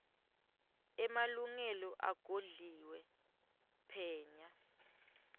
emalungelo agodliwe phenya